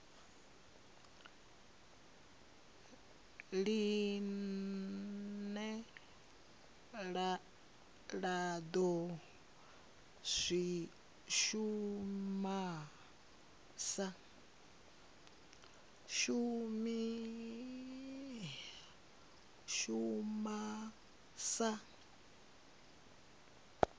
line la do shuma sa